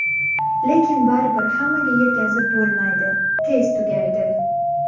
Lekin baribir hammaga yetkazib bo‘lmaydi, tez tugaydi.